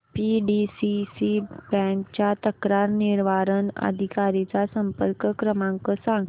PDCC bank च्या तक्रार निवारण अधिकारी चा संपर्क क्रमांक सांग